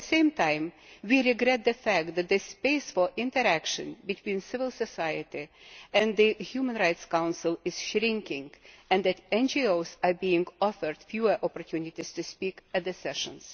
At the same time, we regret the fact that the space for interaction between civil society and the Human Rights Council is shrinking and that NGOs are being offered fewer opportunities to speak at the sessions.